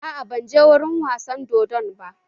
Aa, ban je wurin wasan dodon ba